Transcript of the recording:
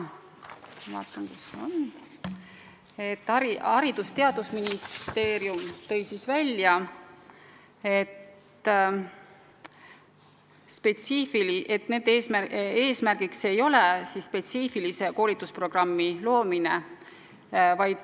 Haridus- ja Teadusministeeriumi esindaja märkis, et nende eesmärk ei ole välja töötada spetsiifilist koolitusprogrammi.